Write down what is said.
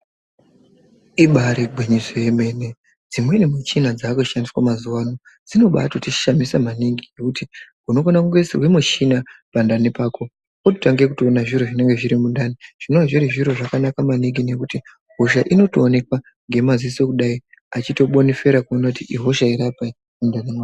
Ibari gwinyiso romeme, dzimweni michina dzakushandiswa mazuvano dzinobaato tishamisa maningi ngekuti unofanira kungoisirwa michina pandani pako ototange kutoona zviro zvinenge zviri mundani zvinova zviri zviro zvakanaka maningi ngekuti hosha inotoonekwa nemaziso achitobonifera kuona kuti ihosha iri apa iyi mundani mavo.